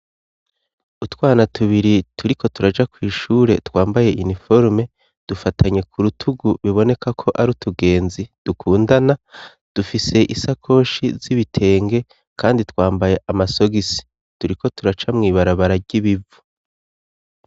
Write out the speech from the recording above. Utwana tubiri turiko turaja kw'ishure twambaye iniforome dufatanye ku rutugu biboneka ko ari utugenzi dukundana, dufise isakoshi z'ibitenge kandi twambaye amasogisi turiko turaca mwibarabara ry'ibivu.